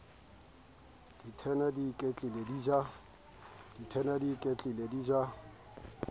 dithena di iketlile di ja